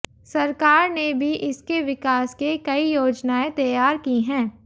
सरकार ने भी इसके विकास के कई योजनाएं तैयार की हैं